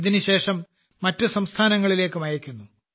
ഇതിന്ശേഷം മറ്റ് സംസ്ഥാനങ്ങളിലേക്കും അയയ്ക്കുന്നു